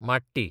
माटी